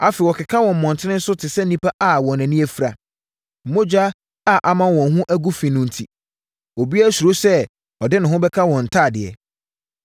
Afei wɔkeka wɔ mmɔntene so te sɛ nnipa a wɔn ani afira. Mogya a ama wɔn ho agu fi no enti obiara suro sɛ ɔde ne ho bɛka wɔn ntadeɛ.